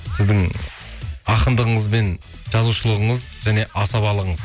сіздің ақындығыңыз бен жазушылығыңыз және асабалығыңыз